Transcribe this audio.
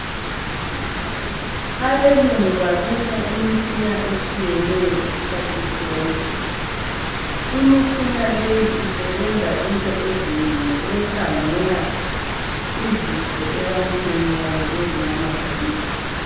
Abelungu babisa imitshina etshiyeneyo isikhathi sonke. Imitshina leyi isebenza into ezinengi ukukhangela izifo ebantwini kanye lezinyamazaneni.